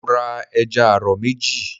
Mo ra ẹja àrọ̀ méjì.